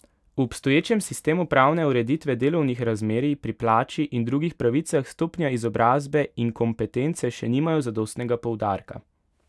V obstoječem sistemu pravne ureditve delovnih razmerij pri plači in drugih pravicah stopnja izobrazbe in kompetence še nimajo zadostnega poudarka.